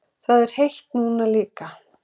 Það er heitt núna líka.